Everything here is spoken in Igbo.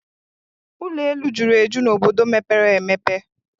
Ụlọ elu juru eju n'obodo mepere emepe